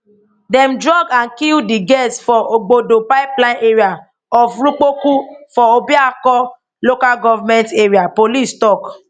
dem drug and kill di girls for ogbodo pipeline area of rukpokwu for obioakpor local government area police tok